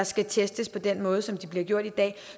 skal testes på den måde som de bliver i dag